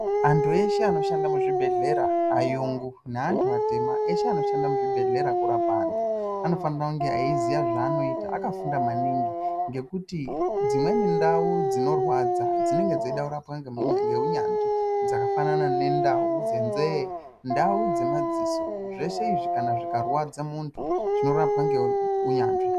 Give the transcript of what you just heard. Antu eshe anoshanda mu zvibhedhlera ayungu ne antu atema eshe ano shanda mu zvibhedhlera kurapa antu ano fanira kunge eyi ziya zva anoita aka funda maningi ngekuti dzimweni ndau dzino rwadza dzinenge dzeida kurapwa nge unyanzvi dzaka fanana ne ndau dze nze ndau dze madziso zveshe izvi kana zvika rwadza muntu zvino rapwa nge unyanzvi.